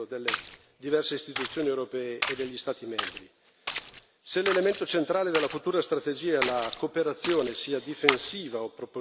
Se l'elemento centrale della futura strategia è la cooperazione, sia difensiva o propositiva, allora servono già adesso alcune parole chiare.